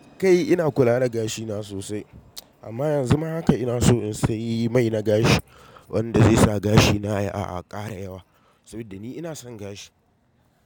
Kai ina kula da gashina sosai, amma yanzu ma haka ina so in sayi mai na gashi wanda zai sa gashina ya ƙara yawa saboda ni ina son gashi.